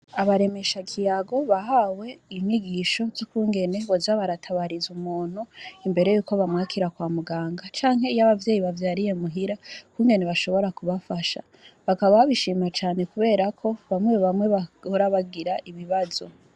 Abaremeshakiyago, bahawe inyigisho zukungene, boza baratabariza umuntu imbere yuko bamwakira kwa muganga, canke iyo abavyeyi bavyariye muhira, ukungene bashobora kubafasha bakaba baba shimira cane kberako bamwe bamwe bahora bagira ibibazo.